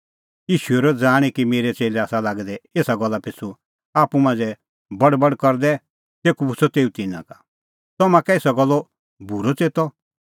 ईशू हेरअ ज़ाणीं कि मेरै च़ेल्लै आसा लागै दै एसा गल्ला पिछ़ू आप्पू मांझ़ै बड़बड़ करदै तेखअ पुछ़अ तेऊ तिन्नां का तम्हां कै एसा गल्लो बूरअ च़ेतअ